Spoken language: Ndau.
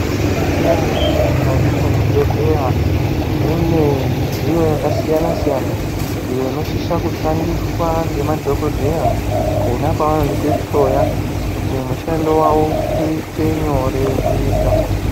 Maizviziya ere kuti mukati mwezvibhedhlera mune midziyo yakasiyana siyana iyo inosisa kushandiswa ngemadhokodheya pona pavanotihloya kuti mushando wavo uite nyore kuita.